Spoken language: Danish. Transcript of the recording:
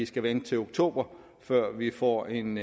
skal vente til oktober før vi får en